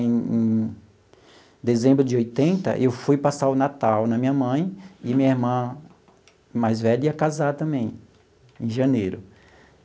Em em dezembro de oitenta, eu fui passar o Natal na minha mãe e minha irmã mais velha ia casar também, em janeiro.